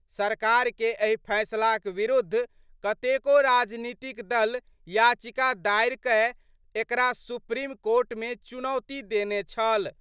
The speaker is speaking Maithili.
सरकार के एहि फैसलाक विरुद्ध कतेको राजनीतिक दल याचिका दायर कए एकरा सुप्रीम कोर्ट मे चुनौती देने छल।